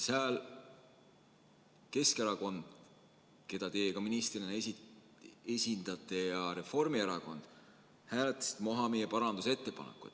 Siis Keskerakond, keda teie ministrina esindate, ja Reformierakond hääletasid maha meie parandusettepaneku.